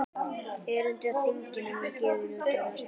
Erindi á þinginu voru gefin út í ráðstefnuriti.